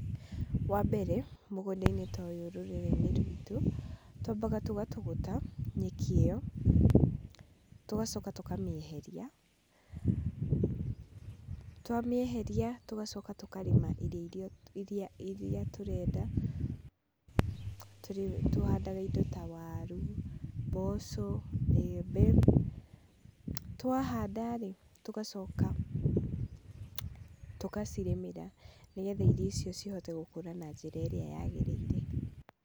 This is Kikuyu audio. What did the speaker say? Wa mbere, mũgũnda-inĩ ta ũyũ rũrĩrĩ-inĩ rwitũ, twambaga tũgatũgũta nyeki ĩyo, tũgacoka tũkamĩeheria, twamĩeheria, tũgacoka tũkarĩma irio iria, iría tũrenda, tũhandaga indo ta waru, mboco, mbembe. Twahanda-rĩ, tũgacoka tũgacirĩmĩra nĩgetha irio icio cihote gũkũra na njĩra ĩrĩa yagĩrĩire.